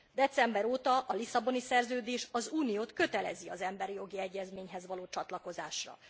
December óta a Lisszaboni Szerződés az Uniót kötelezi az emberi jogi egyezményhez való csatlakozásra.